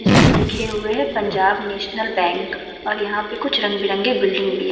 इसमें लिखे हुए है पंजाब नेशनल बैंक और यहाँ पे कुछ रंग बिरंगे बिल्डिंग भी हैं।